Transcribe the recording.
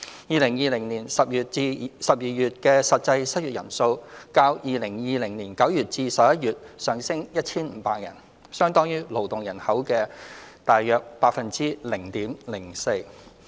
2020年10月至12月的失業人數較2020年9月至11月上升 1,500 人，相當於勞動人口的約 0.04%。